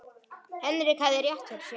Henrik hafði rétt fyrir sér.